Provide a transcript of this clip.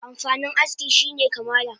Amfanin aski shine kamala